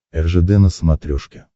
ржд на смотрешке